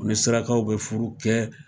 U ni surakaw bɛ furu kɛ.